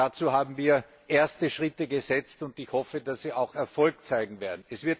Dazu haben wir erste Schritte gesetzt, und ich hoffe, dass sie auch Erfolg zeigen werden.